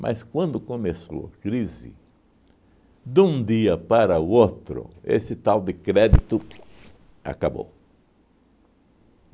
Mas quando começou a crise, de um dia para o outro, esse tal de crédito acabou.